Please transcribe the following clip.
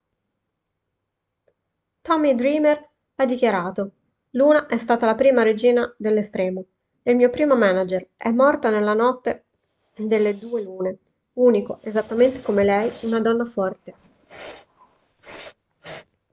tommy dreamer ha dichiarato luna è stata la prima regina dell'estremo il mio primo manager è morta nella notte delle due lune unico esattamente come lei una donna forte